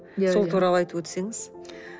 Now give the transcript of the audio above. иә иә сол туралы айтып өтсеңіз